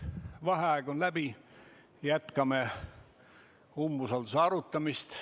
Vaheaeg on läbi, jätkame umbusalduse arutamist.